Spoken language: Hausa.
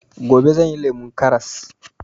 Gobe zan yi lemon karras